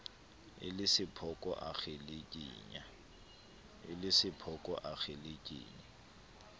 e le sephoko a kgelekenya